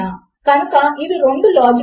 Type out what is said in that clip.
మీరు ఒక ఫీల్డ్ ను నింపడము మరచి పోయారు